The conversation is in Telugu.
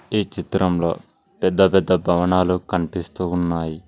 ఈ చిత్రంలో పెద్దపెద్ద భవనాలు కనిపిస్తూ ఉన్నాయి.